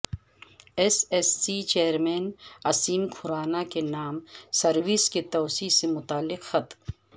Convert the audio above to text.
S S C chairman Aseem Khurana کے نام service کی توسیع سے متعلق خط